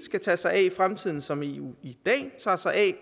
skal tage sig af i fremtiden som eu i dag tager sig af